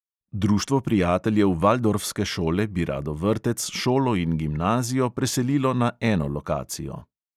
Društvo prijateljev valdorfske šole bi rado vrtec, šolo in gimnazijo preselilo na eno lokacijo.